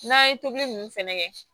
N'an ye tobili nunnu fɛnɛ kɛ